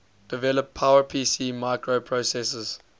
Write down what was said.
develop powerpc microprocessor